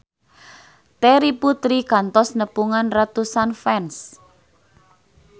Terry Putri kantos nepungan ratusan fans